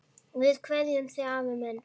Við kveðjum þig, afi minn.